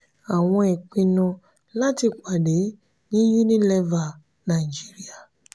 àwọn ìpinnu láti pàdé ní unilever nigeria